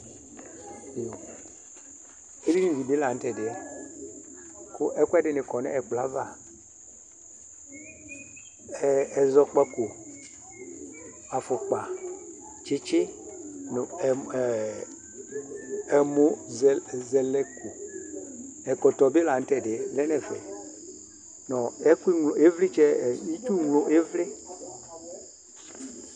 Edinɩ dibi laŋʊtɛdiɛ kʊ ɛkʊ ɛdinɩ kɔ ŋʊ ɛkplɔ aʋa Ɛzɔkpaƙɔ, afʊƙpa, tsɩtsʊ ŋʊ ɛmʊzɛlɛƙo Ɛkɔtɔ ɓɩ laŋʊtɛ ɓɩ lɛ ŋʊ ɛfɛ ŋʊ ɩtsʊglo ɩʋlɩ